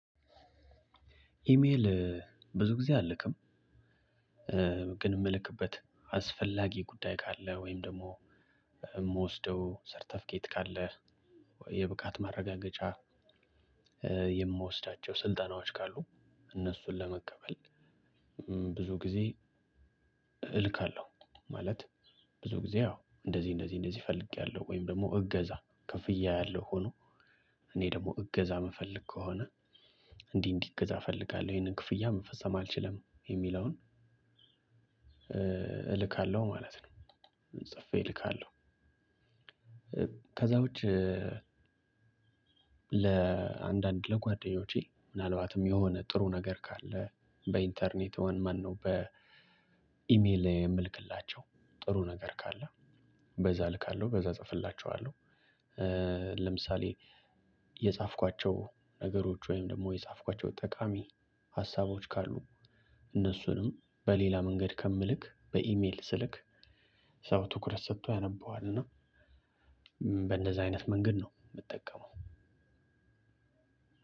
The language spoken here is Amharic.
ኢሜል ብዙ ጊዜ አልልክም። ግን ምልክበት አስፈላጊ ጉዳይ ካለ ወይም ደግሞ የምወስደው ሰርተፍኬት ካለ፣ የብቃት ማረጋገጫ የምወስዳቸው ስልጠናዎች ካሉ እነሱን ለመቀበል ብዙ ጊዜ እልካለሁ። ማለት ብዙ ጊዜ አዎ እንደዚህ እንደዚህ እንደዚህ ፈልጌያለሁ ወይም ደግሞ እገዛ ክፍያ ያለው ሆኖ እኔ ደግሞ እገዛ የምፈልግ ከሆነ እንዲህ እንዲህ እገዛ እፈልጋለሁ ይሄንን ክፍያ መፈሰም አልችልም የሚለውን እልካለሁ ማለት ነው። ጽፌ እልካለሁ። ከዛ ውጪ ለአንዳንድ ለጓደኞቼ ምናልባትም የሆነ ጥሩ ነገር ካለ በኢንተርኔት ማነው በ በኢሜል የምልክላቸው ጥሩ ነገር ካለ በዛ እልካለሁ በዛ እጽፍላችኋለሁ። ለምሳሌ የጻፍኳቸው ነገሮች ወይም ደግሞ የጻፍኳቸው ጠቃሚ ሀሳቦች ካሉ እነሱንም በሌላ መንገድ ከምልክ በኢሜል ስልክ ሰው ትኩረት ሰጥቶ ያነበዋል እና በእንደዛ አይነት መንገድ ነው የምጠቀመው።